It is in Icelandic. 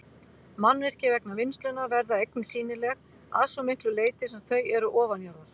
Mannvirki vegna vinnslunnar verða einnig sýnileg að svo miklu leyti sem þau eru ofanjarðar.